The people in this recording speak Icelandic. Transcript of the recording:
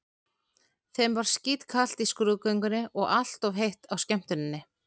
Þeim var skítkalt í skrúðgöngunni og allt of heitt á skemmtuninni.